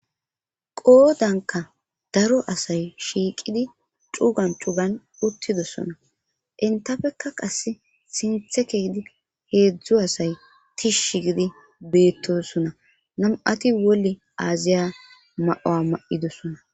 qoodanka daro asay shiiqidi cugan cugan uttidosona intafeka qasse sinthekeyidi heedzdzu asay tish gidi beettosona nam7ati wolle aaziya ma7oa ma7idosona